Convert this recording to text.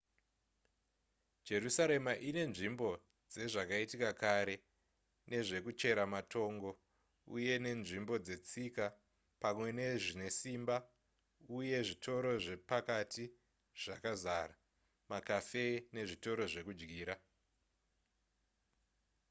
jerusarema inenzvimbo dzezvakaitika kare nezvekuchera matongo uye nenzvimbo dzetsika pamwe nezvinesimba uye zvitoro zvepakati zvakazara macafe nezvitoro zvekudyira